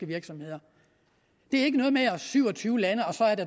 virksomheder det er ikke noget med syv og tyve lande og